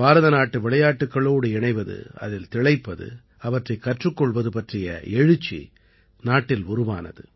பாரதநாட்டு விளையாட்டுக்களோடு இணைவது அதில் திளைப்பது அவற்றைக் கற்றுக் கொள்வது பற்றிய எழுச்சி நாட்டில் உருவானது